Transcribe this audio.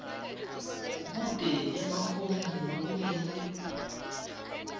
kute emafomu lekumele